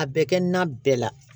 A bɛ kɛ nan bɛɛ la